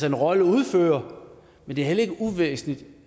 en rolle at udføre men det er heller ikke uvæsentligt